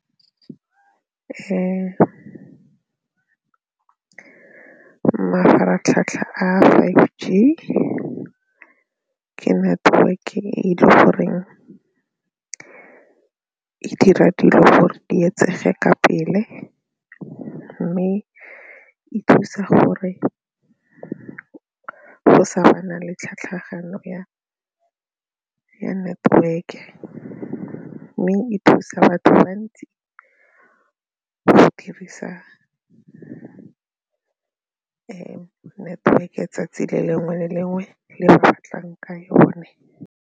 Mafaratlhatlha a five G ke network ke e le goreng e dira dilo gore di etsege ka pele mme e thusa gore go sa bana le tlhatlhagano ya network mme e thusa batho ba bantsi go dirisa network-e 'tsatsi le lengwe le lengwe le o batlang ka yone.